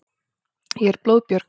Ég er blóðbjörg.